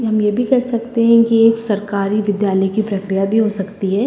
हम ये भी कह सकते हैं कि एक सरकारी विद्यालय की प्रक्रिया भी हो सकती।